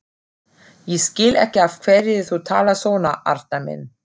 Ég skil ekki af hverju þú talar svona, Arnar minn.